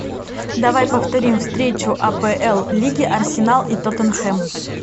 давай повторим встречу апл лиги арсенал и тоттенхэм